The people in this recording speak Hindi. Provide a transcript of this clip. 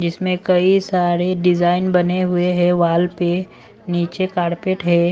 जिसमें कई सारे डिजाइन बने हुए हैं वाल पे नीचे कारपेट है।